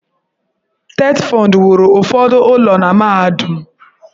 TETFUND wuru ụfọdụ ụlọ na mahadum.